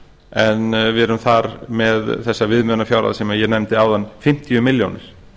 en við erum þar með þessa viðmiðunarfjárhæð sem ég nefndi áðan fimmtíu milljónir